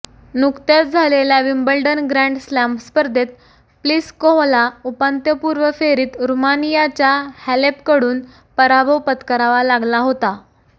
नुकत्याच झालेल्या Wimbledon grand slam स्पर्धेत प्लिसकोव्हाला उपांत्यपूर्व फेरीत रूमानियाच्या हॅलेपकडून पराभव पत्करावा लागला होता